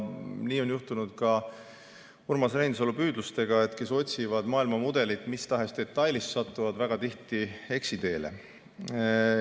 Nii on juhtunud ka Urmas Reinsalu püüdlustega: kes otsivad maailmamudelit mis tahes detailis, satuvad väga tihti eksiteele.